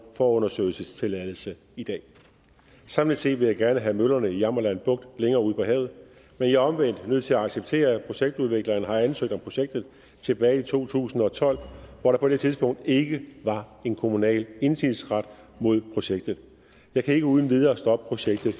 forundersøgelsestilladelse i dag samlet set vil jeg gerne have møllerne i jammerland bugt længere ud på havet men jeg er omvendt nødt til at acceptere at projektudvikleren har ansøgt om projektet tilbage i to tusind og tolv hvor der på det tidspunkt ikke var en kommunal indsigelsesret mod projektet jeg kan ikke uden videre stoppe projektet